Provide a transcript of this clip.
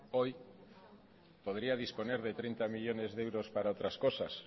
hoy podría disponer de treinta millónes de euros para otras cosas